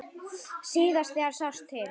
Síðast þegar sást til